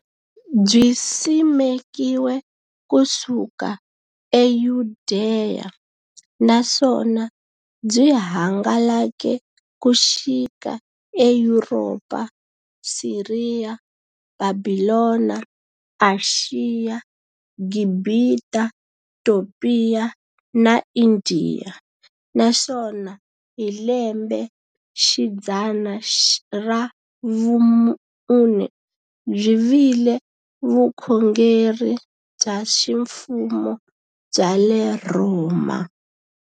Byisimekiwe ku suka e Yudeya, naswona byi hangalake ku xika e Yuropa, Siriya, Bhabhilona, Ashiya, Gibhita, Topiya na Indiya, naswona hi lembexidzana ra vumune byi vile vukhongeri bya ximfumo bya le Rhoma.